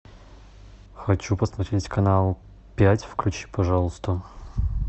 хочу посмотреть канал пять включи пожалуйста